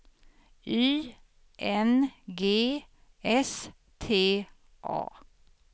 Y N G S T A